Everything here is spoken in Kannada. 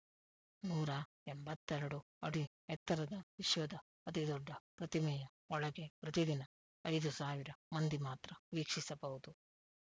ನೂರ ಎಂಬತ್ತ್ ಎರಡು ಅಡಿ ಎತ್ತರದ ವಿಶ್ವದ ಅತಿದೊಡ್ಡ ಪ್ರತಿಮೆಯ ಒಳಗೆ ಪ್ರತಿದಿನ ಐದು ಸಾವಿರ ಮಂದಿ ಮಾತ್ರ ವೀಕ್ಷಿಸಬಹುದು